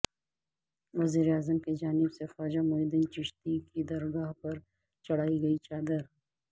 وزیر اعظم کی جانب سے خواجہ معین الدین چشتی کی درگاہ پر چڑھائی گئی چادر